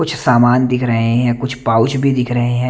कुछ सामान दिख रहे हैं कुछ पाऊच भी दिख रहे हैं।